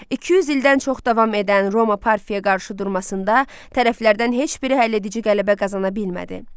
200 ildən çox davam edən Roma parfiyaya qarşı durmasında tərəflərdən heç biri həlledici qələbə qazana bilmədi.